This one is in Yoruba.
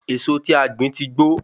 Èso tí a gbìn tí gbó